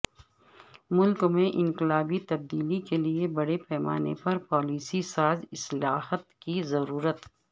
ملک میں انقلابی تبدیلی کے لئے بڑے پیمانے پر پالیسی ساز اصلاحات کی ضرورت